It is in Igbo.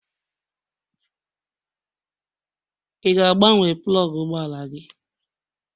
Ị ga-agbanwe plọgụ ụgbọ ala?